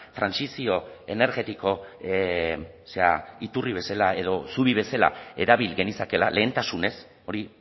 trantsizio energetiko zera iturri bezala edo zubi bezala erabil genezakeela lehentasunez hori